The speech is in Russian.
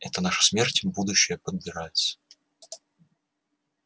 это наша смерть будущая подбирается